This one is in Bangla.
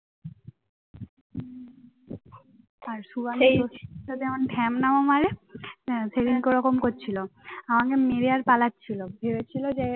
হ্যাঁ সেদিনকে ওরকম করেছিল আমাকে মেরে আর পালাচ্ছিল ভেবেছিল যে ওর